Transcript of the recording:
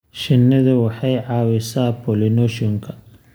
Shinnidu waxay caawisaa pollination-ka.